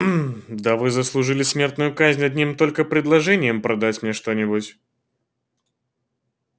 мм да вы заслужили смертную казнь одним только предложением продать мне что-нибудь